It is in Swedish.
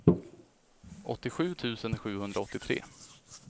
åttiosju tusen sjuhundraåttiotre